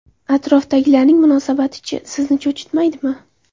Atrofdagilarning munosabati-chi, sizni cho‘chitmaydimi?